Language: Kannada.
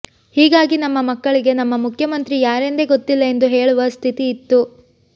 ಹೀಗಾಗಿ ನಮ್ಮ ಮಕ್ಕಳಿಗೆ ನಮ್ಮ ಮುಖ್ಯಮಂತ್ರಿ ಯಾರೆಂದೇ ಗೊತ್ತಿಲ್ಲ ಎಂದು ಹೇಳುವ ಸ್ಥಿತಿಇತ್ತು